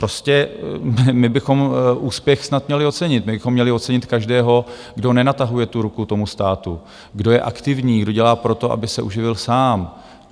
Prostě my bychom úspěch snad měli ocenit, my bychom měli ocenit každého, kdo nenatahuje tu ruku tomu státu, kdo je aktivní, kdo dělá proto, aby se uživil sám.